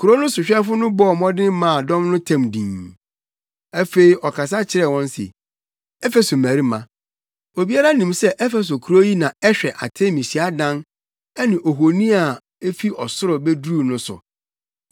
Kurow no sohwɛfo no bɔɔ mmɔden maa dɔm no tɛm dinn. Afei ɔkasa kyerɛɛ wɔn se, “Efeso mmarima, obiara nim sɛ Efeso kurow yi na ɛhwɛ Artemi hyiadan ne ohoni a efi ɔsoro beduruu no so.